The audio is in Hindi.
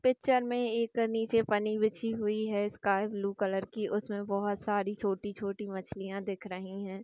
पिक्चर में एक नीचे पनी बिछी हुई है स्कायबलू कलर की उसमें बहुत सारी छोटी छोटी मछलियाँ दिख रही है।